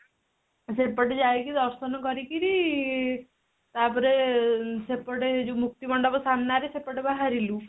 ସେପଟେ ଯାଇକି ଦର୍ଶନ କରିକିରି ତାପରେ ସେପଟେ ଏ ଯୋଉ ମୁକ୍ତି ମଣ୍ଡପ ସାମ୍ନା ରେ ସେପଟେ ବାହାରିଲୁ